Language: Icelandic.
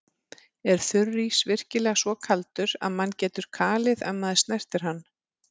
Er þurrís virkilega svo kaldur að mann getur kalið ef maður snertir hann?